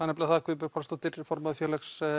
nefnilega það Guðbjörg Pálsdóttir formaður Félags